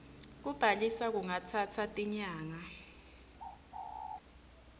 kubhalisa kungatsatsa tinyanga